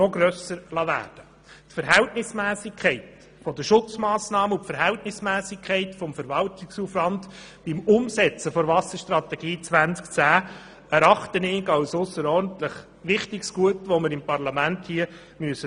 Die Verhältnismässigkeit der Schutzmassnahmen und des Verwaltungsaufwands beim Umsetzen der Wasserstrategie 2010 erachte ich als ausserordentlich wichtiges Gut, auf das wir hier im Parlament achten müssen.